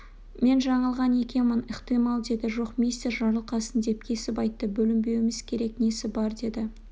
мен жаңылған екенмін ықтимал деді жоқ мистер жарылқасын деп кесіп айтты бөлінбеуіміз керек несі бар деді